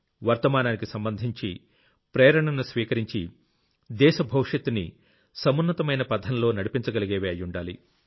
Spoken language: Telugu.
వర్తమానానికి సంబంధించి ప్రేరణను స్వీకరించి దేశ భవిష్యత్తుని సమున్నతమైన పథంలో నడిపించగలిగేవి అయ్యుండాలి